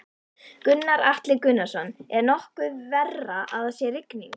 Gunnar Atli Gunnarsson: Er nokkuð verra að það sé rigning?